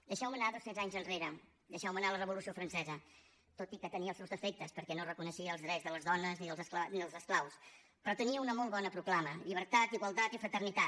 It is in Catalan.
deixeu me anar dos cents anys enrere deixeu me anar a la revolució francesa tot i que tenia els seus defectes perquè no reconeixia els drets de les dones ni dels esclaus però tenia una molt bona proclama llibertat igualtat i fraternitat